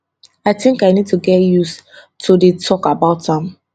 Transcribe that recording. i tink i need to get used to dey tok about am